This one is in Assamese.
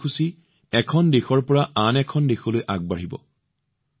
কাৰ্যসূচীটো এখনৰ পিছত এখন দেশত আৰম্ভ হব